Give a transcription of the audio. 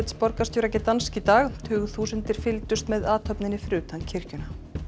borgarstjóra Gdansk í dag tugþúsundir fylgdust með athöfninni fyrir utan kirkjuna